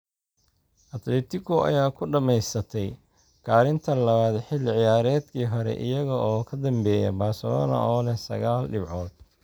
Atletico ayaa ku dhameysatay kaalinta labaad xilli ciyaareedkii hore iyagoo ka dambeeya Barcelona oo leh sagaal dhibcood.